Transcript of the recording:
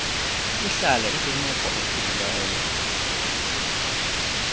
ihlale ikwimeko ephilileyo